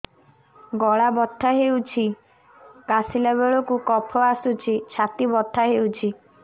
ଗଳା ବଥା ହେଊଛି କାଶିଲା ବେଳକୁ କଫ ଆସୁଛି ଛାତି ବଥା ହେଉଛି